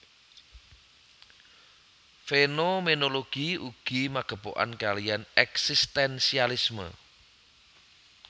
Fénoménologi ugi magepokan kaliyan èksistènsialisme